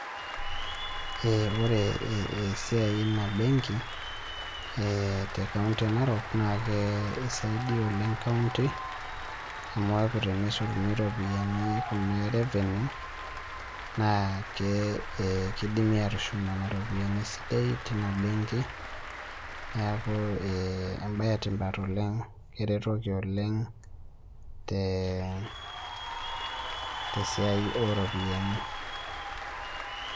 Eeh ore eh esiai e ina benki eeh te kaunti e Narok naakee eisaidia oleng' kaunti amu eaku teneishoruni ropiani kunaa e revenue naa kee eh keidimi atushum nena ropiani sii dei tina benki. Neaku eh embaye etipat oleng' keretoki oleng' tee [mh] tesiai oropiani.